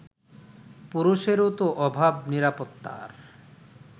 পুরুষেরও তো অভাব নিরাপত্তার